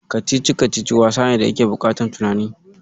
Kacici-kacici wasa ne da yake buƙataf tunani.